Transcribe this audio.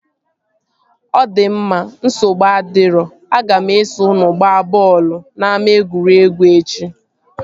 Ọ di mma, nsogbu adirọ, aga m eso unu gbaa bọọlụ n'ama egwuregwu echi